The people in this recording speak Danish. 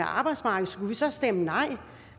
arbejdsmarkedet skulle vi så stemme nej